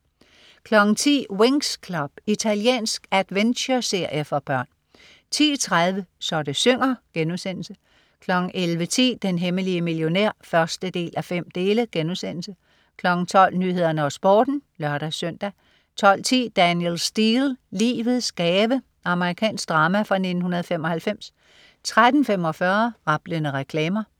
10.00 Winx Club. Italiensk adventureserie for børn 10.30 Så det synger* 11.10 Den hemmelige millionær 1:5* 12.00 Nyhederne og Sporten (lør-søn) 12.10 Danielle Steel. Livets gave. Amerikansk drama fra 1995 13.45 Rablende reklamer